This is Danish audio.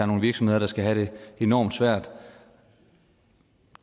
nogle virksomheder der skal have det enormt svært